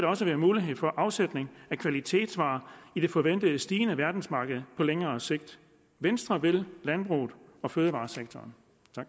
også være mulighed for afsætning af kvalitetsvarer i det forventede stigende verdensmarked på længere sigt venstre vil landbruget og fødevaresektoren